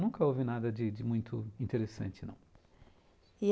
Nunca houve nada de de muito interessante, não. E